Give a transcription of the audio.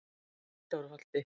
Hvítárholti